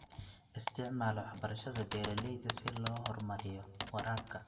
Isticmaal waxbarashada beeralayda si loo horumariyo waraabka.